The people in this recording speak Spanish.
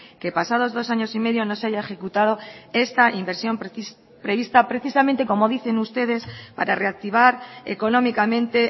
que pasados dos años y medio no se haya ejecutado esta inversión prevista precisamente como dicen ustedes para reactivar económicamente